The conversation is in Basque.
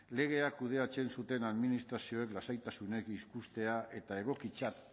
legeak kudeatzen zuten administrazioek lasaitasunez ikustea eta egokitzat